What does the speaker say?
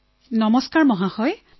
শৈলজাঃ নমস্কাৰ মহোদয়